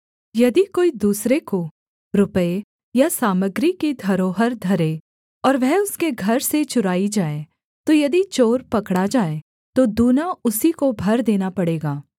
यदि कोई दूसरे को रुपये या सामग्री की धरोहर धरे और वह उसके घर से चुराई जाए तो यदि चोर पकड़ा जाए तो दूना उसी को भर देना पड़ेगा